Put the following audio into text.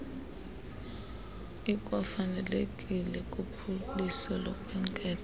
ikwafanelekile kuphuliso lokhenketho